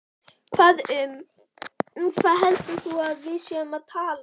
Um hvað heldur þú að við séum að tala!